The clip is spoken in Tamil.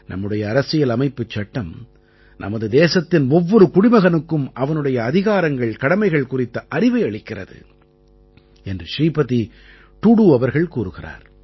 நம்முடைய அரசியல் அமைப்புச் சட்டம் நமது தேசத்தின் ஒவ்வொரு குடிமகனுக்கும் அவனுடைய அதிகாரங்கள்கடமைகள் குறித்த அறிவை அளிக்கிறது என்று ஸ்ரீபதி டூடூ அவர்கள் கூறுகிறார்